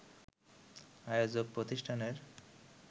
আয়োজক প্রতিষ্ঠানের